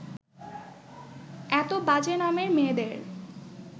এত বাজে নামের মেয়েদের